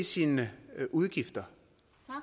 sine udgifter